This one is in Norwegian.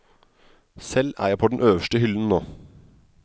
Selv er jeg på den øverste hyllen nå.